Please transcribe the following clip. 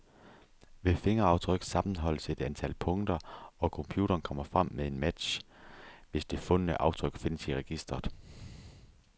Ved fingeraftryk sammenholdes et antal punkter, og computeren kommer frem med en match, hvis det fundne aftryk findes i registret.